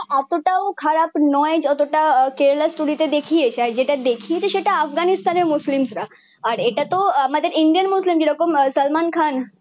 এত তও খারাপ নয় যতটা কেরেলা স্টোরি তে দেখিয়েইছে আর যেটা দেখিয়েছে সেটা আফগানিস্তানের মুসলিমরা আর ইটা তো আমাদের ইন্ডিয়ান মুসলিম যেরকম সালমান খান